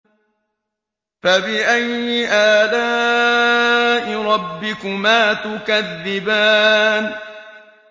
فَبِأَيِّ آلَاءِ رَبِّكُمَا تُكَذِّبَانِ